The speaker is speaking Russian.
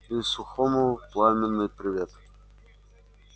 и сухому пламенный привет